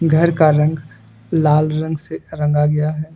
घर का रंग लाल रंग से रंगा गया है।